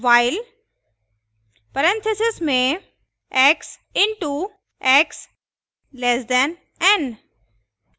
while parenthesis में x into x <n